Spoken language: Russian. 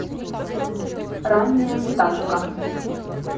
ранняя пташка